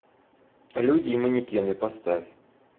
люди и манекены поставь